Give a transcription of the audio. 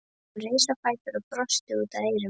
Hún reis á fætur og brosti út að eyrum.